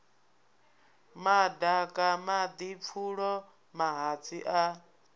madaka madi pfulo mahatsi a